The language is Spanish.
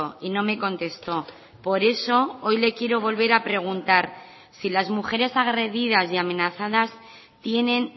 y no me contestó por eso hoy le quiero volver a preguntar si las mujeres agredidas y amenazadas tienen